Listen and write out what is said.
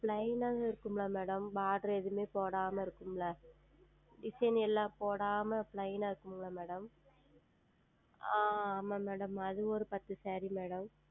Plain ஆ இருக்கும் அல்லவா Madam Border எதுவுமே போடாமல் இருக்கும் அல்லவா Design எல்லாம் போடாமல் Plain ஆ இருக்கும் அல்லவா Madam ஆஹ் ஆமாம் Madam அது ஓர் பத்து SareeMadam